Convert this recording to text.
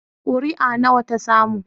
Kuri'a nawa ta samu?